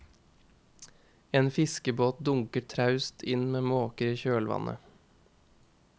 En fiskebåt dunker traust inn med måker i kjølvannet.